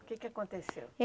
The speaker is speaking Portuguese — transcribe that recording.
O que que aconteceu?